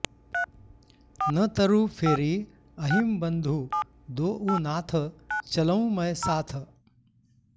नतरु फेरिअहिं बंधु दोउ नाथ चलौं मैं साथ